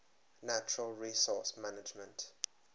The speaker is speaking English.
natural resource management